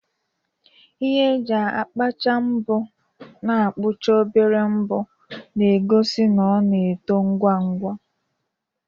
Ihe eji akpachai mbo na-akpụcha obere mbọ, na-egosi na ọ na-eto ngwa ngwa.